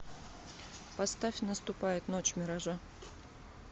поставь наступает ночь миража